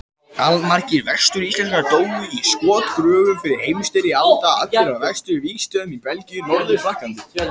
Allmargir Vestur-Íslendingar dóu í skotgröfum fyrri heimsstyrjaldarinnar, allir á vesturvígstöðvunum í Belgíu og Norður-Frakklandi.